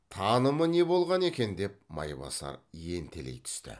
танымы не болған екен деп майбасар ентелей түсті